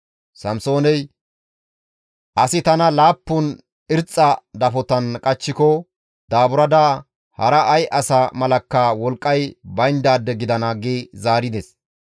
Samsooney, «Asi tana laappun irxxa dafotan qachchiko daaburada hara ay asa malakka wolqqay bayndaade gidana» gi zaarides.